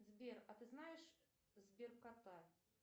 сбер а ты знаешь сбер кота